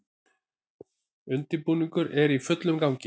Undirbúningur er í fullum gangi